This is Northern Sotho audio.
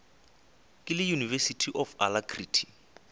ke le university of alacrity